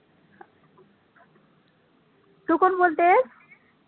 तु कोण बोलतेस?